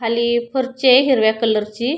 खाली फरचीये हिरव्या कलर ची --